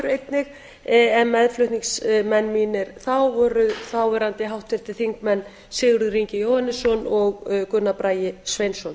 einnig en meðflutningsmenn mínir þá voru þáverandi háttvirtir þingmenn sigurður ingi jóhannsson og gunnar bragi sveinsson